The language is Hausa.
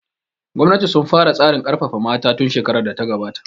Gwamnati sun fara tsarin ƙarfafa mata tun shekarar da ta gabata